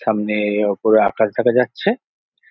সামনে ওপরে আকাশ দেখা যাচ্ছে।